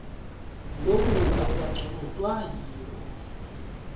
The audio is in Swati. loku akukanconotwa yiwho